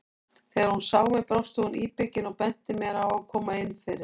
Þegar hún sá mig brosti hún íbyggin og benti mér að koma inn fyrir.